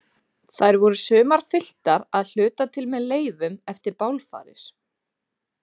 Þær voru sumar fylltar, að hluta til með leifum eftir bálfarir.